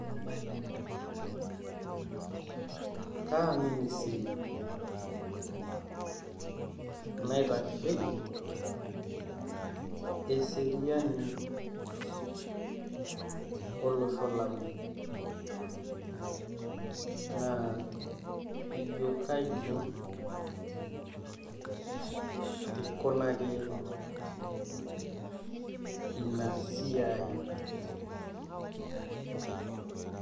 kaministry naitasheiki eseriani olosho lang', naa ka ijioo kaji ikunaki inasiai